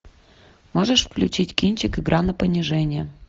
можешь включить кинчик игра на понижение